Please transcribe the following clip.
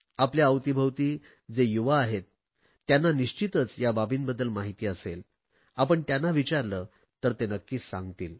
आपल्या अवतीभवती जे युवा आहेत त्यांना निश्चितच या बाबींबद्दल माहिती असेल आपण त्यांना विचारले तर ते नक्कीच सांगतील